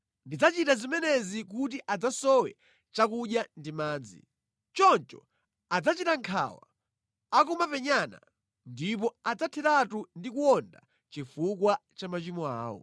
Ndidzachita zimenezi kuti adzasowe chakudya ndi madzi. Choncho adzachita nkhawa akumapenyana ndipo adzatheratu ndi kuwonda chifukwa cha machimo awo.”